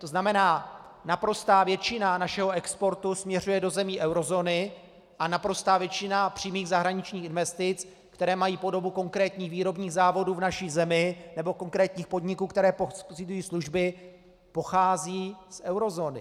To znamená, naprostá většina našeho exportu směřuje do zemí eurozóny a naprostá většina přímých zahraničních investic, které mají podobu konkrétních výrobních závodů v naší zemi nebo konkrétních podniků, které poskytují služby, pochází z eurozóny.